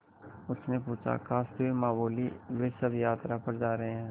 उसने पूछा खाँसते हुए माँ बोलीं वे सब यात्रा पर जा रहे हैं